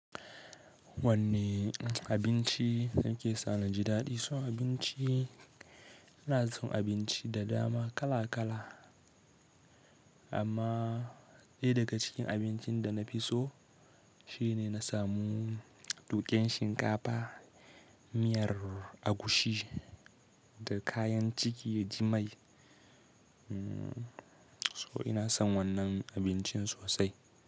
Wanne abinci ne ke sa na ji daɗi? So abinci, ina son abinci da dama kala kala. Amma ɗaya daga cikin abincin da na fi so shine na samu duken shinkafa, miyar agushi da kayan ciki ji mai. So ina son wannan abincin sosai.